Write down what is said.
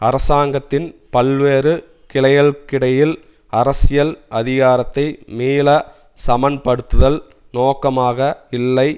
அரசாங்கத்தின் பல்வேறு கிளைகளுக்கிடையில் அரசியல் அதிகாரத்தை மீள சமன்படுத்துதல் நோக்கமாக இல்லை